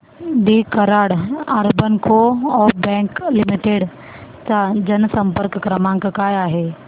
दि Karad urban co-op bank limited चा जनसंपर्क क्रमांक काय आहे